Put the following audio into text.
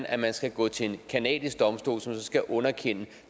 at man skal gå til en canadisk domstol som så skal underkende